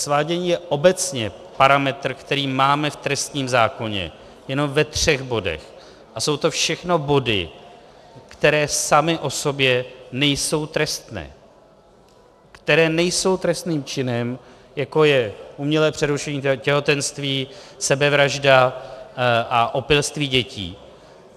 Svádění je obecně parametr, který máme v trestním zákoně jenom ve třech bodech, a jsou to všechno body, které samy o sobě nejsou trestné, které nejsou trestným činem, jako je umělé přerušení těhotenství, sebevražda a opilství dětí.